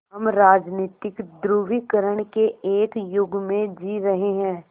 हम राजनीतिक ध्रुवीकरण के एक युग में जी रहे हैं